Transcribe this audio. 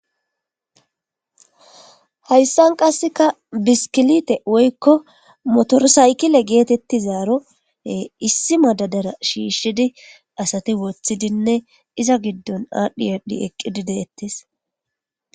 Hayyssan qasseka biskkilittte woykko motor siykile geetetizaaro issi madadara shiishidi asati woththidine iza giddon adhi adhi eqqidi deetees.